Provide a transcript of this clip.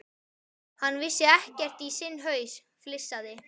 Hann vissi ekkert í sinn haus, flissaði